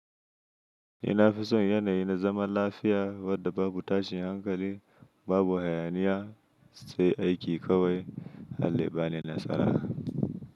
Ni na fi son yanayi na zaman lafiya wadda babu tashin hankali, babu hayaniya sai aiki kawai Allah yabani nasara.